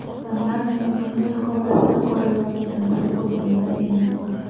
Odamlar meni bunday holatda ko‘rayotganidan o‘zimda emasman.